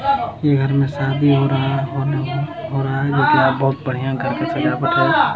इ घर में शादी हो रहा हो रहा है बहुत बढ़िया घर का सजावट है।